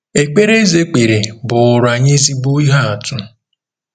Ekpere Eze kpere bụụrụ anyị ezigbo ihe atụ